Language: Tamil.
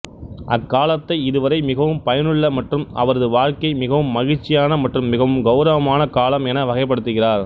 அக்காலத்தை இதுவரை மிகவும் பயனுள்ள மற்றும் அவரது வாழ்க்கை மிகவும் மகிழ்ச்சியான மற்றும் மிகவும் கெளரவமான காலம் என வகைப்படுத்துகிறார்